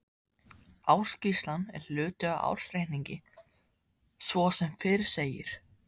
Ársskýrslan er hluti af ársreikningi svo sem fyrr segir.